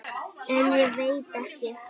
En ég veit ekki.